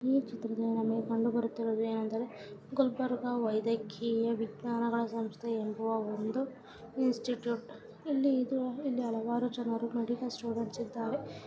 ಈ ಚಿತ್ರದಲ್ಲಿ ನಮಗೆ ಕಂಡುಬರುತ್ತಿರುವುದೇನೆಂದರೆ ಗುಲ್ಬರ್ಗಾ ವೈದ್ಯಕೀಯ ವಿಜ್ಞಾನಗಳ ಸಂಸ್ಥೆ ಎಂಬ ಒಂದು ಇನ್ಸ್ಟಿಟ್ಯೂಟ್‌ ಇಲ್ಲಿ ಹಲವಾರು ಜನರು ಮೆಡಿಕಲ್‌ ಸ್ಟೋರ್‌ ಹಚ್ಚಿದ್ದಾರೆ.